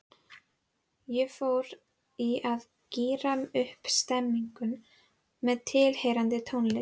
Ég fór í að gíra upp stemninguna með tilheyrandi tónlist.